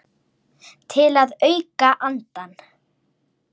Til að auka andann.